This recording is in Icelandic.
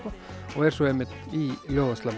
og er svo einmitt í ljóðaslammi